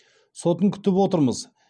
сотын күтіп отырмыз